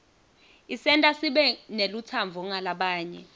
isenta sibe nelutsandvo ngalabanye